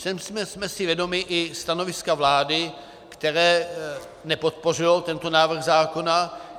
Jsme si i vědomi stanoviska vlády, které nepodpořilo tento návrh zákona.